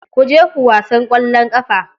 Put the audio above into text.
Ku je ku wasan ƙwallon ƙafa.